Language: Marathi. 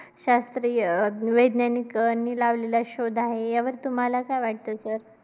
शास्त्रीय वैज्ञानिकांनी लावलेला शोध आहे. यावर तुम्हाला काय वाटतं sir?